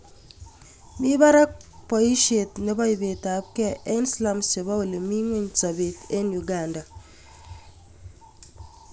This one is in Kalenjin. Mii parak poisheet nepo ipetapkee en slums chepo ole mi ngweny sobeet eng Uganda